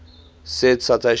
said citation needed